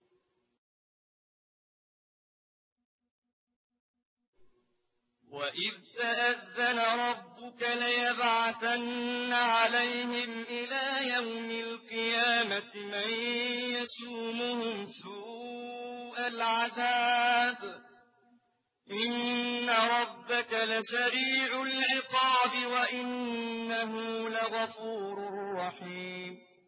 وَإِذْ تَأَذَّنَ رَبُّكَ لَيَبْعَثَنَّ عَلَيْهِمْ إِلَىٰ يَوْمِ الْقِيَامَةِ مَن يَسُومُهُمْ سُوءَ الْعَذَابِ ۗ إِنَّ رَبَّكَ لَسَرِيعُ الْعِقَابِ ۖ وَإِنَّهُ لَغَفُورٌ رَّحِيمٌ